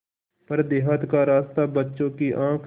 पर देहात का रास्ता बच्चों की आँख